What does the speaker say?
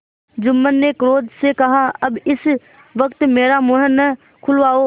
जुम्मन ने क्रोध से कहाअब इस वक्त मेरा मुँह न खुलवाओ